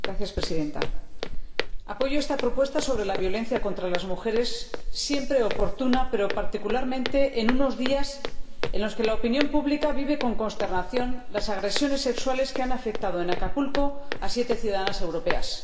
Señora Presidenta, apoyo esta propuesta sobre la violencia contra las mujeres, siempre oportuna, pero particularmente en unos días en los que la opinión pública vive con consternación las agresiones sexuales que han afectado en Acapulco a siete ciudadanas europeas.